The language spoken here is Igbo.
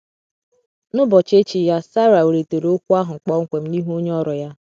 N’ụbochi echi ya Sara welitere okwu ahụ kpọmkwem n’ihu onye ọrụ ya.